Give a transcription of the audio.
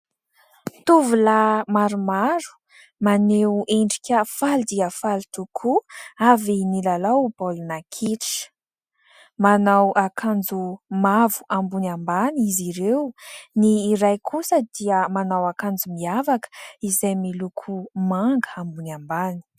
Tovolahy maromaro maneho endrika faly dia faly tokoa, avy nilalao baolina kitra. Manao akanjo mavo ambony ambany izy ireo ; ny iray kosa dia manao akanjo miavaka, izay miloko manga ambony ambany.